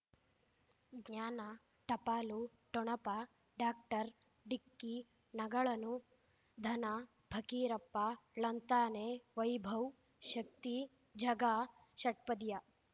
ಜ್ಞಾನ ಟಪಾಲು ಠೊಣಪ ಡಾಕ್ಟರ್ ಢಿಕ್ಕಿ ಣಗಳನು ಧನ ಫಕೀರಪ್ಪ ಳಂತಾನೆ ವೈಭವ್ ಶಕ್ತಿ ಝಗಾ ಷಟ್ಪದಿಯ